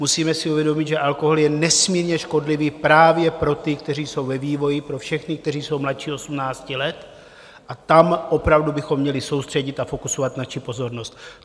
Musíme si uvědomit, že alkohol je nesmírně škodlivý právě pro ty, kteří jsou ve vývoji, pro všechny, kteří jsou mladší 18 let, a tam opravdu bychom měli soustředit a fokusovat naši pozornost.